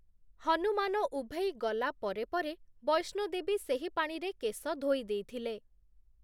ହନୁମାନ ଉଭେଇ ଗଲା ପରେ ପରେ ବୈଷ୍ଣୋଦେବୀ ସେହି ପାଣିରେ କେଶ ଧୋଇ ଦେଇଥିଲେ ।